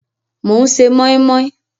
Mò ń ṣe mọ́í mọ́í